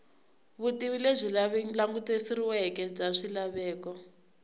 vutivi lebyi languteriweke bya swilaveko